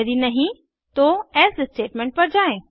यदि नहीं तो एल्से स्टेटमेंट पर जायें